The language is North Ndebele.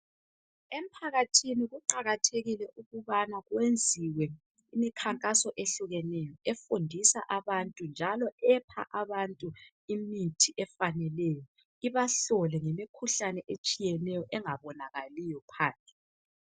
Emphakathini kuqakathekile ukubana kwenziwe imikhankaso ehlukeneyo efundisa abantu njalo epha abantu imithi efaneleyo ibahlole ngemikhuhlane ehlukeneyo engabonakaliyo phandle.